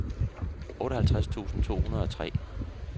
otteoghalvtreds tusind to hundrede og tre